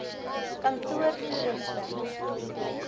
kantoortoerusting